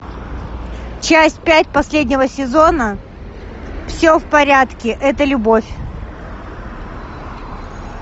часть пять последнего сезона все в порядке это любовь